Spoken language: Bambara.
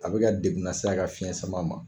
A bɛ ka degun lase a ka fiɲɛ sama ma.